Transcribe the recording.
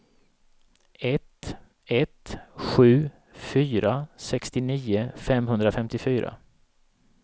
ett ett sju fyra sextionio femhundrafemtiofyra